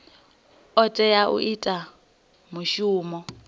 o tea u ita mushumo